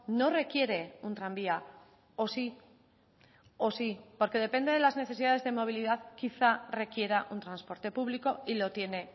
no requiere un tranvía o sí o sí porque depende de las necesidades de movilidad quizá requiera un transporte público y lo tiene